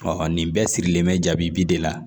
nin bɛɛ sirilen bɛ jaabi bi de la